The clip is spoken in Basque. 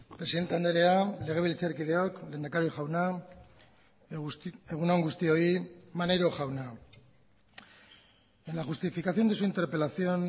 presidente andrea legebiltzarkideok lehendakari jauna egun on guztioi maneiro jauna en la justificación de su interpelación